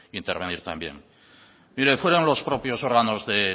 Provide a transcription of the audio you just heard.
intervenir también mire fueran los propios órganos de